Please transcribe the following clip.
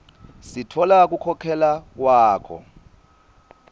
sitfola kukhokhela kwakho